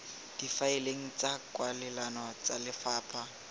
difaeleng tsa kwalelano tsa lefapha